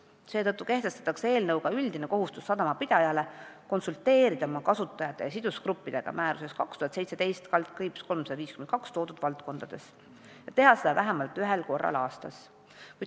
Seetõttu kehtestatakse eelnõu kohaselt sadamapidaja üldine kohustus konsulteerida oma kasutajate ja sidusgruppidega määruses 2017/352 toodud valdkondades ja teha seda vähemalt ühel korral aastas.